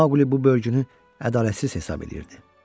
Maqli bu bölgünü ədalətsiz hesab edirdi.